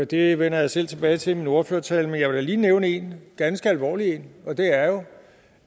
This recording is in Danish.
det vender jeg selv tilbage til i min ordførertale men jeg vil da lige nævne en ganske alvorlig en og det er jo